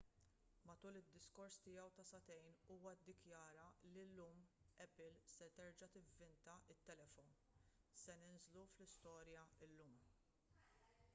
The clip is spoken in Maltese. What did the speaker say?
matul id-diskors tiegħu ta' sagħtejn huwa ddikjara li illum apple se terġa' tivvinta t-telefon se ninżlu fl-istorja llum